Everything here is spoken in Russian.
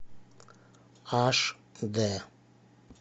аш д